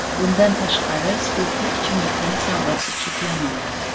Bundan tashqari, spirtli ichimlikning savdosi cheklanadi.